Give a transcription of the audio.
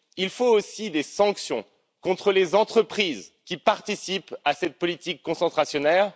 Il faut aussi des sanctions contre les entreprises qui participent à cette politique concentrationnaire.